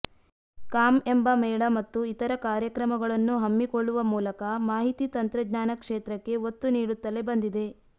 com ಎಂಬ ಮೇಳ ಮತ್ತು ಇತರ ಕಾರ್ಯಕ್ರಮಗಳನ್ನು ಹಮ್ಮಿಕೊಳ್ಳುವ ಮೂಲಕ ಮಾಹಿತಿ ತಂತ್ರಜ್ಞಾನ ಕ್ಷೇತ್ರಕ್ಕೆ ಒತ್ತು ನೀಡುತ್ತಲೇ ಬಂದಿದೆ